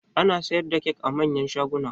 Ana siyar da kyak a manyan shaguna